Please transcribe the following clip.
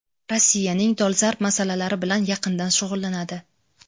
Rossiyaning dolzarb masalalari bilan yaqindan shug‘ullanadi.